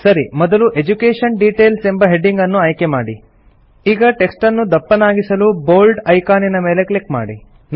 ಸರಿ ಮೊದಲು education details ಎಂಬ ಹೆಡಿಂಗ್ ಅನ್ನು ಆಯ್ಕೆಮಾಡಿ ಈಗ ಟೆಕ್ಸ್ಟ್ ಅನ್ನು ದಪ್ಪನಾಗಿಸಲು ಬೋಲ್ಡ್ ಐಕಾನಿನ ಮೇಲೆ ಕ್ಲಿಕ್ ಮಾಡಿ